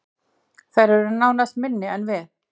Þær eru nánast minni en við